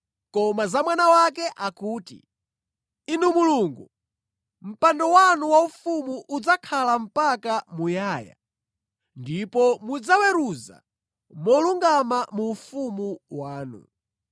Koma za Mwana wake akuti, “Inu Mulungu, mpando wanu waufumu udzakhala mpaka muyaya, ndipo mudzaweruza molungama mu ufumu wanu.